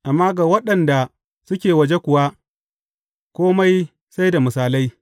Amma ga waɗanda suke waje kuwa, kome sai da misalai.